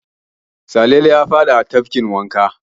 Salele ya faɗa a tafkin wanka.